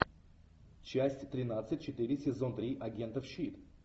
часть тринадцать четыре сезон три агентов щит